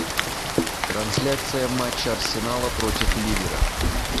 трансляция матча арсенала против ливера